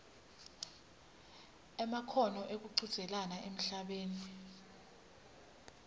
kwemakhono ekuchudzelana emhlabeni